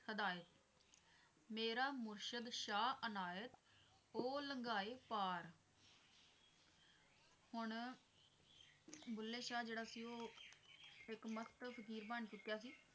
ਮੇਰਾ ਮੁਰਸ਼ਦ ਸ਼ਾਹ ਇਨਾਇਤ ਉਹ ਲੰਘਾਏ ਪਾਰ ਹੁਣ ਬੁੱਲੇ ਸ਼ਾਹ ਜਿਹੜਾ ਸੀ ਉਹ ਇੱਕ ਮਸਤ ਫਕੀਰ ਬਣ ਚੁਕਿਆ ਸੀ।